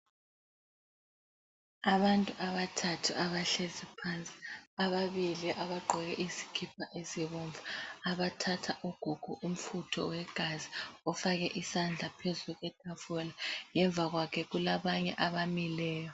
Abantu abathathu abahlezi phansi .Ababili abagqoke izikipa ezibomvu, abathatha ugogo umfutho wegazi ofake isandla phezu kwetafula. Ngemva kwakhe kulabanye abamileyo.